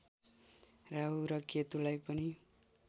राहु र केतुलाई पनि